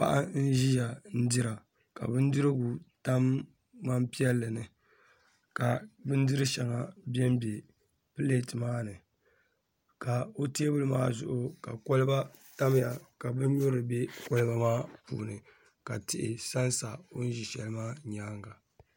paɣa n-ʒeya n-dira ka bindirigu tam ŋmampiɛlli ni ka bindir'shɛŋa benbe pileeti maa ni ka o teebuli maa zuɣu ka kɔliba tamya ka bin'nyurili be kɔliba maa puuni ka tihi sansa o ni ʒe shɛli maa nyaaŋa